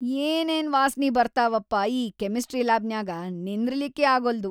ಏನೇನ್ ವಾಸ್ನಿ ಬರ್ತಾವಪ್ಪಾ ಈ ಕೆಮಿಸ್ಟ್ರಿ ಲ್ಯಾಬನ್ಯಾಗ ನಿಂದ್ರಲಿಕ್ಕೇ ಆಗಲ್ದು.